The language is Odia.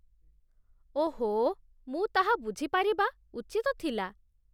ଓହୋ, ମୁଁ ତାହା ବୁଝିପାରିବା ଉଚିତ ଥିଲା